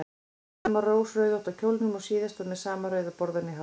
Í sama rauðrósótta kjólnum og síðast og með sama rauða borðann í hárinu.